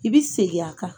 I bɛ segin a kan